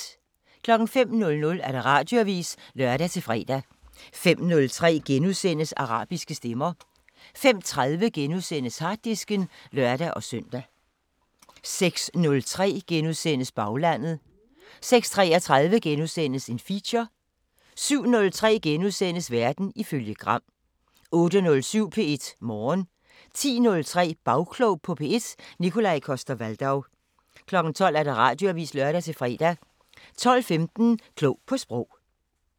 05:00: Radioavisen (lør-fre) 05:03: Arabiske Stemmer * 05:30: Harddisken *(lør-søn) 06:03: Baglandet * 06:33: Feature * 07:03: Verden ifølge Gram * 08:07: P1 Morgen 10:03: Bagklog på P1: Nikolaj Coster-Waldau 12:00: Radioavisen (lør-fre) 12:15: Klog på Sprog